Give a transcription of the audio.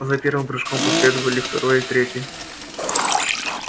за первым прыжком последовали второй и третий